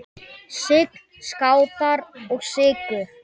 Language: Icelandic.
Sign, Skátar og Sykur.